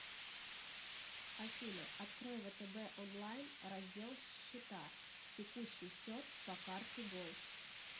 афина открой втб онлайн раздел счета текущий счет по карте голд